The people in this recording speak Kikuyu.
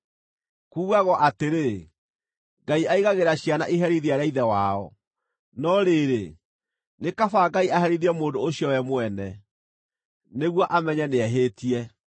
Kuugagwo atĩrĩ, ‘Ngai aigagĩra ciana iherithia rĩa ithe wao.’ No rĩrĩ, nĩ kaba Ngai aherithie mũndũ ũcio we mwene, nĩguo amenye nĩehĩtie!